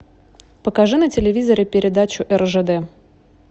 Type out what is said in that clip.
покажи на телевизоре передачу ржд